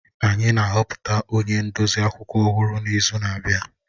Anyị na-ahọpụta onye ndozi akwụkwọ ọhụrụ n'izu na-abịa